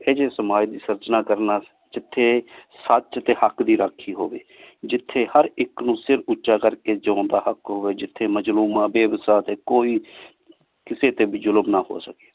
ਏਹੋ ਜੇ ਸਮਾਜ ਦੀ ਸੇਆਰ੍ਚਨਾ ਕਰਨਾ ਜਿਥਯ ਸਚ ਟੀ ਹਕ਼ ਦੀ ਰਾਖੀ ਹੋਵੀ ਜਿਥਯ ਹਰ ਇਕ ਨੂ ਸਰ ਉਚਾ ਕਰ ਕ ਜੀਨ ਦਾ ਹਕ਼ ਹੋਵੀ ਜਿਥਯ ਮਜ਼ਲੂਮਾ ਬੇ ਵਾਸਾ ਟੀ ਕੋਈ ਕਿਸੀ ਟੀ ਵੀ ਜ਼ੁਲਮ ਨਾ ਹੋ ਸਕੀ